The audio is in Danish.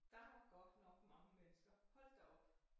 Der var godt nok mange mennesker hold da op